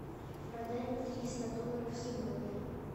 продать триста долларов сегодня